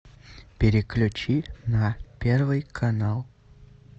переключи на первый канал